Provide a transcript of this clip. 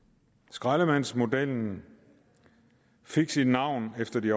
skraldemandsmodellen fik sit navn efter de